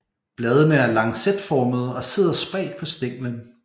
Bladene er lancetformede og sidder spredt på stænglen